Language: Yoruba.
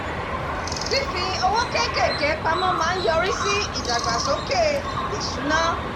fífi owó kéékèèké pamọ́ déédéé lójoojúmọ̀ máa ń yọrí sí ìdàgbàsókè ìṣúná